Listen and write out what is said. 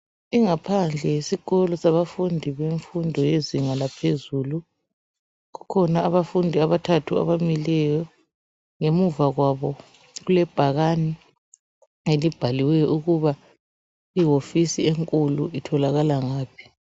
Ingaphandle yesikolo sabafundi bemfundo yezinga laphezulu. Kukhona abafundi abathathu abamileyo. Ngemuva kwabo kulebhakani elibhaliweyo ukuba iwofisi enkulu itholakala ngaphi.